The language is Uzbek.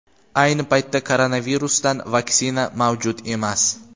Ayni paytda koronavirusdan vaksina mavjud emas.